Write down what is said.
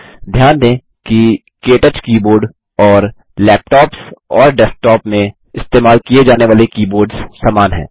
ध्यान दें कि के टच कीबोर्ड और लैपटॉप्स और डेस्कटॉप में इस्तेमाल किये जाने वाले कीबोर्ड्स समान हैं